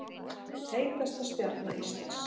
Heitasta stjarna Íslands